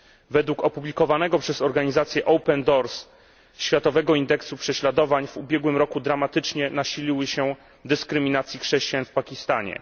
Według opublikowanego przez organizację OPEN DOORS Światowego Indeksu Prześladowań w ubiegłym roku dramatycznie nasiliły się dyskryminacje chrześcijan w Pakistanie.